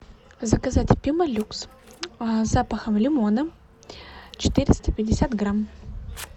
заказать пемолюкс с запахом лимона четыреста пятьдесят грамм